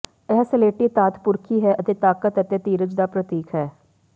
ਇਹ ਸਲੇਟੀ ਧਾਤ ਪੁਰਖੀ ਹੈ ਅਤੇ ਤਾਕਤ ਅਤੇ ਧੀਰਜ ਦਾ ਪ੍ਰਤੀਕ ਹੈ